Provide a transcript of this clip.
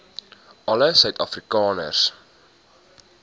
alle suid afrikaners